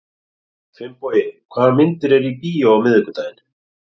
Finnbogi, hvaða myndir eru í bíó á miðvikudaginn?